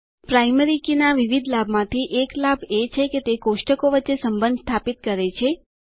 primary key ના વિવિધ લાભ માંથી એક લાભ એ છે કે તે કોષ્ટકો વચ્ચે સંબંધ સ્થાપિત કરે છે